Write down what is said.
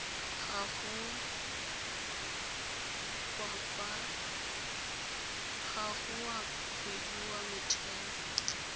gago wa kgwedi wa motheo